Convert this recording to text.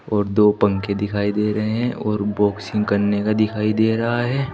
और दो पंखे दिखाई दे रहे हैं और बॉक्सिंग करने का दिखाई दे रहा है।